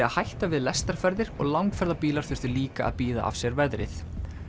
að hætta við lestarferðir og langferðabílar þurftu líka að bíða af sér veðrið